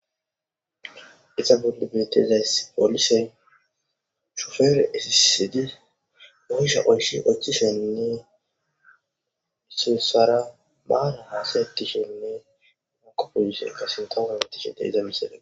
iza bolle betezays polisey shufere isisiydi oysha oyshi ochishenne iseessara baara haasayetishenne mako polisekka sinqogatishe deeyza misede